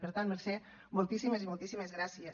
per tant mercè moltíssimes i moltíssimes gràcies